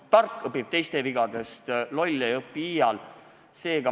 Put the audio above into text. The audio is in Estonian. Tark õpib teiste vigadest, loll ei õpi iial.